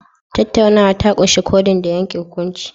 Tattaunawa ta ƙunshi codeing da yanke hukunci